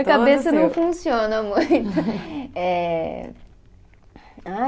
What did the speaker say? A cabeça não funciona muito. Eh, ah